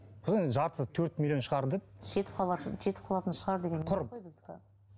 сосын енді жартысы төрт миллион шығар деп жетіп қалатын жетіп қалатын шығар деген құр